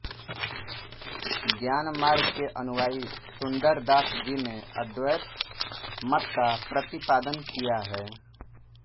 ज्ञान मार्ग के अनुयायी सुंदर दास जी ने अद्वैत मत का प्रतिपादन किया है